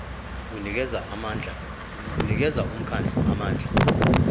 unikeza umkhandlu amandla